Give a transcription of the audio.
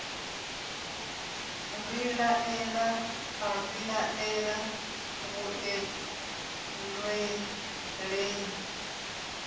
vhilaela a vhilaela vhuḓe nndweleni